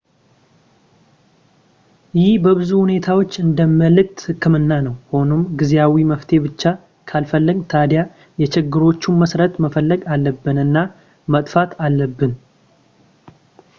ይህ በብዙ ሁኔታዎች እንደ የምልክት ሕክምና ነው ሆኖም ጊዜያዊ መፍትሄ ብቻ ካልፈለግን ታዲያ የችግሮቹን መሰረት መፈለግ አለብን እና ማጥፋት አለብን